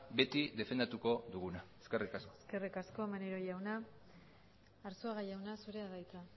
beti defendatuko duguna eskerrik asko eskerrik asko maneiro jauna arzuaga jauna zurea da hitza